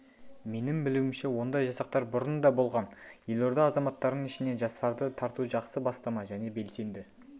менің білуімше ондай жасақтар бұрын да болған елорда азаматтарының ішінен жастарды тарту жақсы бастама және белсенді